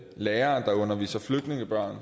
lærere der underviser flygtningebørn og